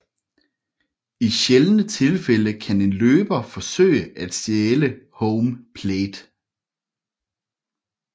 I sjældne tilfælde kan en løber forsøge at stjæle home plate